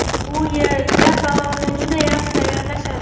U yerda palovni juda yaxshi tayyorlashadi.